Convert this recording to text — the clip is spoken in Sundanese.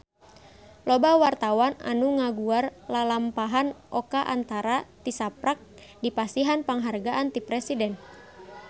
Loba wartawan anu ngaguar lalampahan Oka Antara tisaprak dipasihan panghargaan ti Presiden